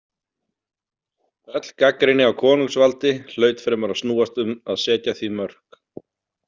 Öll gagnrýni á konungsvaldi hlaut fremur að snúast um að setja því mörk.